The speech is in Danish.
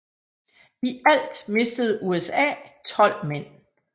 I alt mistede USA tolv mænd